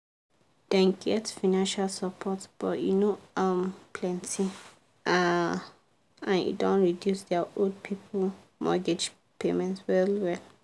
dem get financial support but e no um plenty um and e don reduce their old people mortgage payments well well.